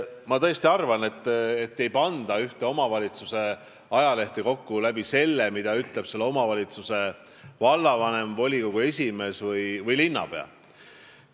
Ma tõesti arvan, et ühte omavalitsuse ajalehte ei panda kokku selle alusel, mida ütleb selle omavalitsuse vallavanem, volikogu esimees või linnapea.